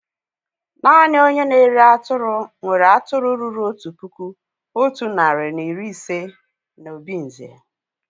Naanị ònye na-ere atụrụ nwéré atụrụ ruru otu puku, otu narị na iri ise na obinze